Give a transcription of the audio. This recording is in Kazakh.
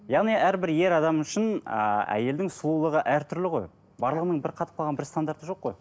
яғни әрбір ер адам үшін ыыы әйелдің сұлулығы әртүрлі ғой барлығының бір қатып қалған бір стандарты жоқ қой